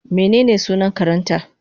mene sunan karenta?